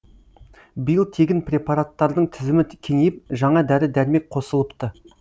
биыл тегін препараттардың тізімі кеңейіп жаңа дәрі дәрмек қосылыпты